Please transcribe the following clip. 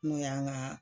N'o y'an ka